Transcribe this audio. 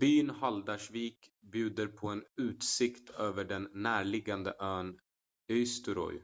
byn haldarsvík bjuder på en utsikt över den närliggande ön eysturoy